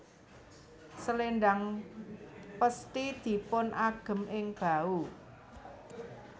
Selendhang pesthi dipun agem ing bahu